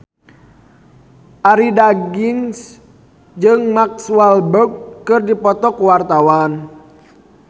Arie Daginks jeung Mark Walberg keur dipoto ku wartawan